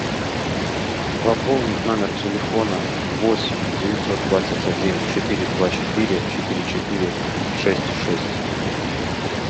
пополнить номер телефона восемь девятьсот двадцать один четыре два четыре четыре четыре шесть шесть